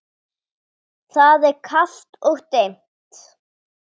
Það er kalt og dimmt.